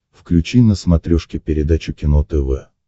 включи на смотрешке передачу кино тв